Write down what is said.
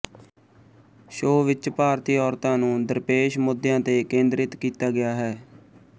show ਵਿਚ ਭਾਰਤੀ ਔਰਤਾਂ ਨੂੰ ਦਰਪੇਸ਼ ਮੁੱਦਿਆਂ ਤੇ ਕੇਂਦਰਿਤ ਕੀਤਾ ਗਿਆ ਹੈ